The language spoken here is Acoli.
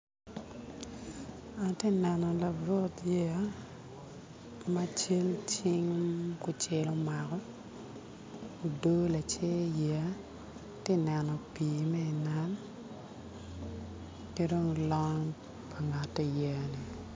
Ati neno labut yeya ma cal cing tung kucel omako odo lacer ati neno pii ma i nam ki dong long pa ngat iyeya ni